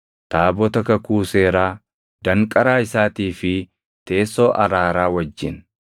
taabota kakuu seeraa, danqaraa isaatii fi teessoo araaraa wajjin;